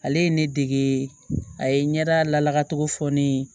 Ale ye ne dege a ye ɲɛda lakatogo fɔ ne ye